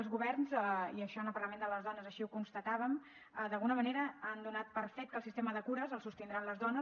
els governs i això en el parlament de les dones així ho constatàvem d’alguna manera han donat per fet que el sistema de cures el sostindran les dones